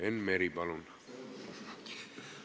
Enn Meri, palun!